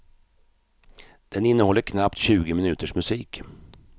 Den innehåller knappt tjugo minuters musik.